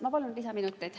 Ma palun lisaminuteid.